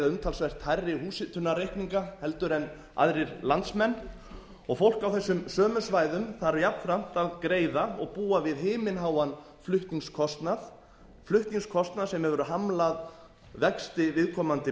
umtalsvert hærri húshitunarreikninga heldur en aðrir landsmenn og fólk á þessum sömu svæðum þarf jafnframt að greiða og búa við himinháan flutningskostnað flutningskostnað sem hefur hamlað vexti viðkomandi